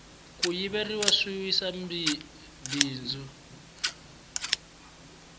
ku yiveriwa swi wisa bindzu